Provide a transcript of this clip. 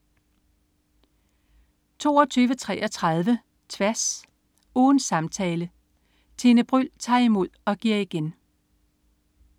22.33 Tværs. Ugens samtale. Tine Bryld tager imod og giver igen